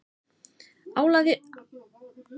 Álagið á þjóðina var gríðarlegt